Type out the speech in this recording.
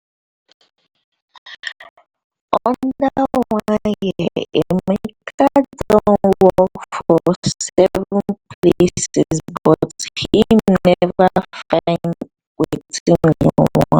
under one year emeka don work for seven places but im never find wetin im want